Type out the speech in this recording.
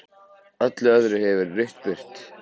Öllu öðru hefur verið rutt burt.